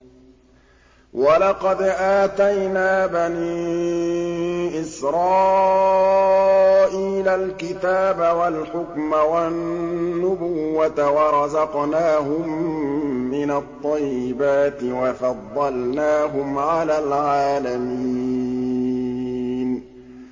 وَلَقَدْ آتَيْنَا بَنِي إِسْرَائِيلَ الْكِتَابَ وَالْحُكْمَ وَالنُّبُوَّةَ وَرَزَقْنَاهُم مِّنَ الطَّيِّبَاتِ وَفَضَّلْنَاهُمْ عَلَى الْعَالَمِينَ